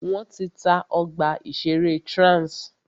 Wọ́n ti ta ọgbà ìṣẹ̀rẹ́ Trans.